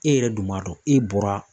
E yɛrɛ dun b'a dɔn e bɔra.